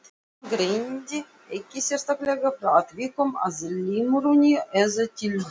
Hann greindi ekki sérstaklega frá atvikum að limrunni eða tildrögum.